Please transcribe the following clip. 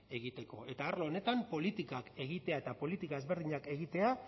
egiteko eta arlo honetan politikak egitea eta politika ezberdinak egitea